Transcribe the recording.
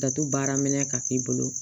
Datugu baara minɛn ka k'i bolo